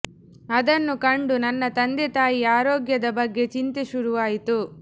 ಅದನ್ನು ಕಂಡು ನನ್ನ ತಂದೆ ತಾಯಿಯ ಆರೋಗ್ಯದ ಬಗ್ಗೆ ಚಿಂತೆ ಶುರುವಾಯಿತು